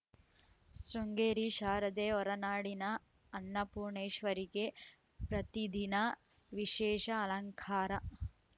ಶೃಂಗೇರಿ ಶಾರದೆ ಹೊರನಾಡಿನ ಅನ್ನಪೂರ್ಣೇಶ್ವರಿಗೆ ಪ್ರತಿದಿನ ವಿಶೇಷ ಅಲಂಕಾರ